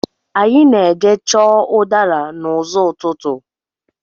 Anyị na-eje chọọ udara n'ụzọ́ ụtụtụ.